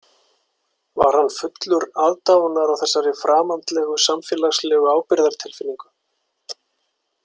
Var hann fullur aðdáunar á þessari framandlegu samfélagslegu ábyrgðartilfinningu?